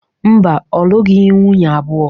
Mba, ọ lụghị nwunye abụo.